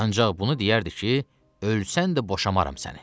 Ancaq bunu deyərdi ki, ölsən də boşaram səni.